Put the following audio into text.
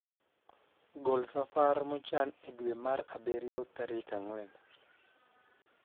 gol safar mochan e dwe mar abirio tarik angwen